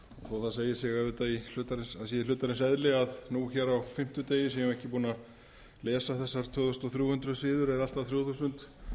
sé í hlutarins eðli að nú hér á fimmtudegi séum við ekki búin að lesa þessar tvö þúsund þrjú hundruð síður eða allt að þrjú þúsund